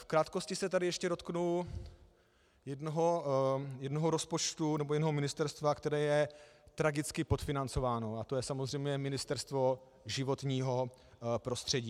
V krátkosti se tady ještě dotknu jednoho rozpočtu, nebo jednoho ministerstva, které je tragicky podfinancováno, a to je samozřejmě Ministerstvo životního prostředí.